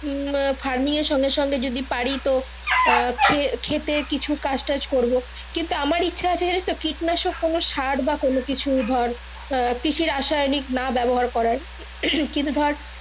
নিয়ে farming এর সঙ্গে সঙ্গে যদি পারি তো আহ খেতে কিছু কাজ টাজ করবো টিন্তু আমার ইচ্ছা আছে জিনিস তো কিটনাশক কোনো সার বা কোনো কিছু ধর আহ কিচ্ছু রাসায়নিক না ব্যাবহার করার কিন্তু ধরে।